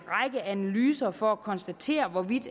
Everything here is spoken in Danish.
analyser for at konstatere hvorvidt